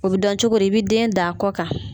O bɛ dɔn cogo di i bɛ den d'a kɔ kan.